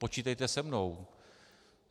Počítejte se mnou.